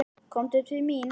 Komdu til mín.